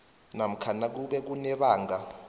namkha nakube kunebanga